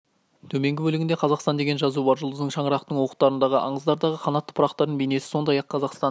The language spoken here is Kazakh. төменгі бөлігінде қазақстан деген жазу бар жұлдыздың шаңырақтың уықтардың аңыздардағы қанатты пырақтардың бейнесі сондай-ақ қазақстан